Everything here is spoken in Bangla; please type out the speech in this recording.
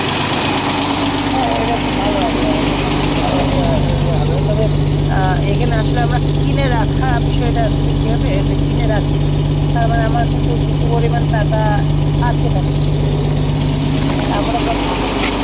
হ্যাঁ এটা খুব ভালো idea হবে খুবই ভালো একটা ইয়ে হবে তবে এখানে আসলে আমরা কিনে রাখার বিষয়টা আসলে কী হবে কিনে রাখছি আবার আমার কিছু পরিমাণ টাকা আটকে থাকছে আমরা চাইছি কী